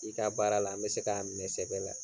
I ka baara la n bɛ se k'a minɛ sɛbɛ la.